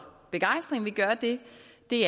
det